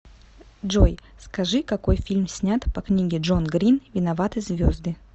джой скажи какои фильм снят по книге джон грин виноваты звезды